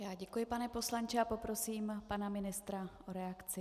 Já děkuji, pane poslanče, a poprosím pana ministra o reakci.